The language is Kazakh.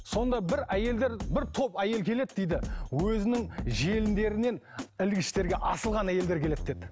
сонда бір әйелдер бір топ әйел келеді дейді өзінің желіндерінен ілгіштерге асылған әйелдер келеді деді